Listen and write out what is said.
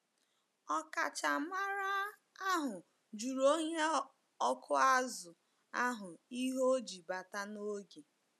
Ọkachamara ahụ jụrụ onye ọkụ azụ̀ ahụ ihe o ji bata n’oge.